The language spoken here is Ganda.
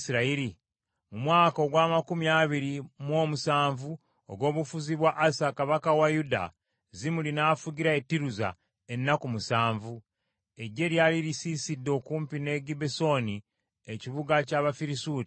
Mu mwaka ogw’amakumi abiri mu omusanvu ogw’obufuzi bwa Asa kabaka wa Yuda, Zimuli n’afugira e Tiruza ennaku musanvu. Eggye lyali lisiisidde okumpi ne Gibbesoni ekibuga ky’Abafirisuuti.